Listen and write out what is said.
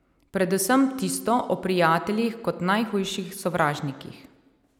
Predvsem tisto o prijateljih kot najhujših sovražnikih.